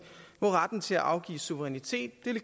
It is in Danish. se er i